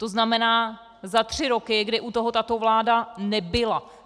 To znamená, za tři roky, kdy u toho tato vláda nebyla.